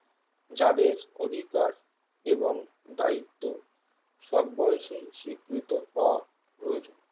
যাদের অধিকার এবং দায়িত্ব সব বয়সেই স্বীকৃত হওয়া প্রয়োজন